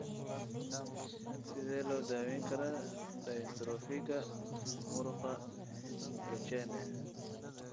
Sidee loo daweyn karaa dystrophiga muruqa Duchenne?